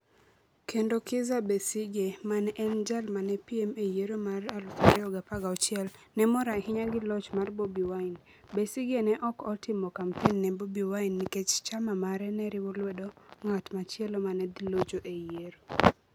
Kendo Kizza Besigye, ma ne en jal ma ne piem e yiero mar 2016 ne mor ahinya gi loch mar Bobi Wine; Besigye ne ok otimo kampen ne Bobi Wine nikech chama mare ne riwo lwedo ng'at machielo ma ne dhi locho e yiero: